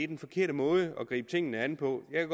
den forkerte måde at gribe tingene an på jeg